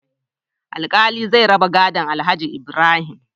Alkali zai raba gadon alhaji Ibrahim